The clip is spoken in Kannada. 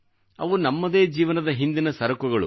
ಅವು ನಮ್ಮದೇ ಜೀವನದ ಹಿಂದಿನ ಸರಕುಗಳು